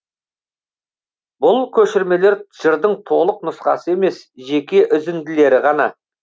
бұл көшірмелер жырдың толық нұсқасы емес жеке үзінділері ғана